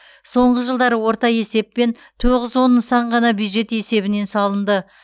соңғы жылдары орта есеппен тоғыз он нысан ғана бюджет есебінен салынды